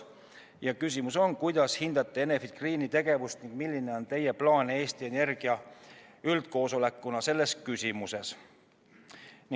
Esimene küsimus: kuidas hindate Enefit Greeni tegevust ning milline on teie plaan Eesti Energia üldkoosolekuna selles küsimuses?